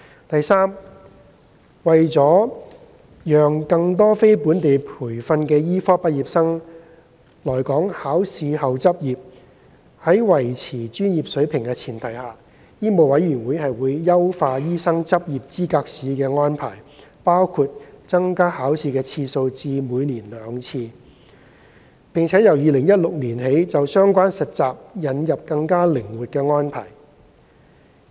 第三，為了讓更多非本地培訓的醫科畢業生來港考試後執業，並在維持專業水平的前提下，香港醫務委員會會優化醫生執業資格試的安排，包括增加考試次數至每年兩次，並由2016年起就相關實習引入更靈活的安排。